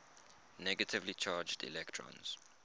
negatively charged electrons